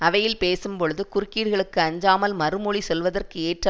அவையில் பேசும்போழுது குறுக்கீடுகளுக்கு அஞ்சாமல் மறுமொழி சொல்வதற்கு ஏற்ற